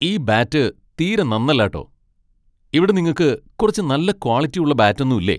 ഈ ബാറ്റ് തീരെ നന്നല്ല ട്ടോ. ഇവിടെ നിങ്ങക്ക് കുറച്ച് നല്ല ക്വാളിറ്റി ഉള്ള ബാറ്റൊന്നും ഇല്ലേ?